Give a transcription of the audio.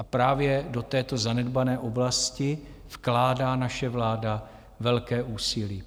A právě do této zanedbané oblasti vkládá naše vláda velké úsilí.